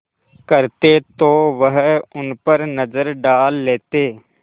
करते तो वह उन पर नज़र डाल लेते